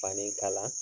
Fani kala